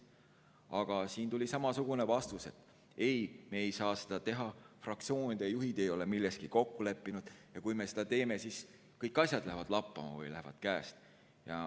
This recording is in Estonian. Aga siin tuli samasugune vastus, et ei, me ei saa seda teha, fraktsioonide juhid ei ole milleski kokku leppinud ja kui me seda teeme, siis kõik asjad lähevad lappama või lähevad käest.